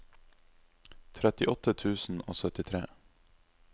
trettiåtte tusen og syttitre